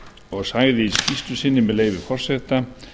og sagði í skýrslu sinni með leyfi forseta